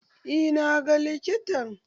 Eh na ga likitan.